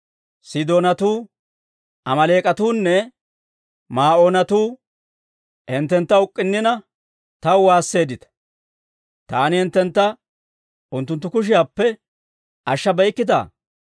Sidoonatuu, Amaaleek'atuunne Maa'oonatuu hinttentta uk'k'unnina, taw waasseeddita; Taani hinttentta unttunttu kushiyaappe ashshabeykkittaa?